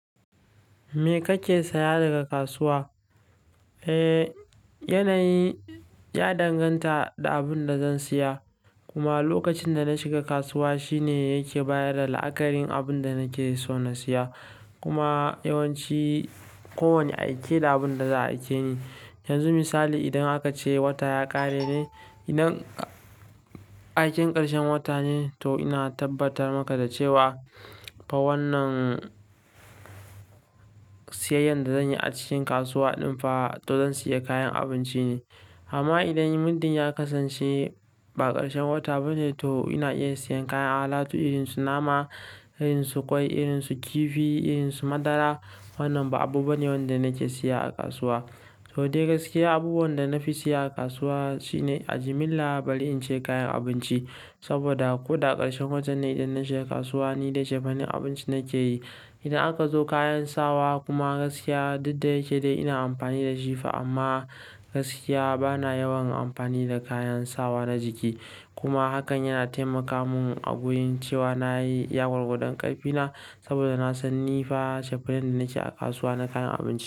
Me kake saya daga kasuwa? Eh, yanayi ya danganta da abin da zan saya. Kuma lokacin da na shiga kasuwa shine yake bayar da la'akarin abin da nake so na siya kuma yawanci ko wane aiki da abun da za a aike ni. Yanzu misali idan aka ce wata ya ƙare ne, idan aikin ƙarshen wata ne, to ina tabbatar maka da cewa ba wannan siyayyar da zanyi a cikin kasuwa ɗin fa to zan siya kayan abinci ne. Amma idan middin ya kasance ba ƙarshen wata ba ne, to ina iya siyan kayan alatu irin su nama, irin su kwai, irin su kifi, irin su madara. Wannan ba abu bane wanda nake siya a kasuwa. To dai gaskiya abubuwan da na fi siya a kasuwa shine a jimilla bari in ce kayan abinci. Saboda ko da ƙarshen watan ne idan na shiga kasuwa nidai cefenan abinci nake yi. Idan aka zo kayan sawa kuma gaskiya duk da yake dai ina amfani da shi fa amma gaskiya bana yawan amfani da kayan sawa na jiki. Kuma hakan yana taimaka mun a wurin cewa nayi iya gwargwadon ƙarfi na. Saboda nasan nifa cefanen da nake a kasuwa na kayan abinci.